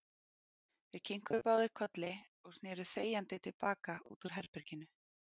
Þeir kinkuðu báðir kolli og sneru þegjandi til baka út úr herberginu.